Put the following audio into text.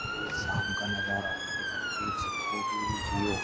ये शाम का नजारा आप देख सकते हैं --